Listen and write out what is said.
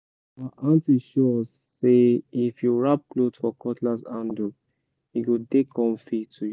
our aunty show us say if you wrap cloth for cutlass handle e go dey comfy to use